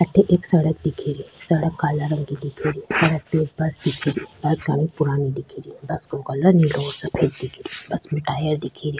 अठे एक सड़क दिखे री सड़क काला रंग की दीखे री सड़क पे एक बस दिखे री बस बहोत पुराणी दिेखे री बस को कलर नीला और सफ़ेद दिखे रो बस में टायर दिखे री।